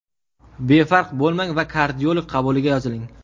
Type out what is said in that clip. Befarq bo‘lmang va kardiolog qabuliga yoziling.